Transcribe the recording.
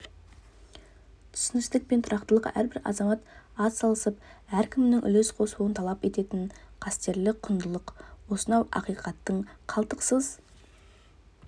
түсіністік пен тұрақтылық әрбір азамат атсалысып әркімнің үлес қосуын талап ететін қастерлі құндылық осынау ақиқатты қалтқысыз